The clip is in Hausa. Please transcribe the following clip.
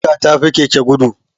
Mota ta fi keke gudu